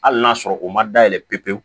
Hali n'a sɔrɔ u ma dayɛlɛ pewu